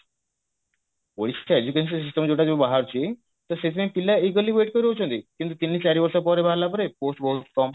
OAS ଟା education system ଟା ଯାହା ବାହାରୁଛି ତ ସେଇଥିପାଇଁ ପିଲା wait କରି ରହୁଛନ୍ତି କିନ୍ତୁ ତିନି ଚାରି ବର୍ଷ ପରେ ବାହାରିଲା ପରେ post ବହୁତ କମ